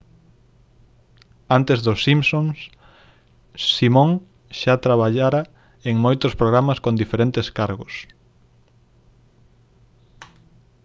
antes dos simpsons simon xa traballara en moitos programas con diferentes cargos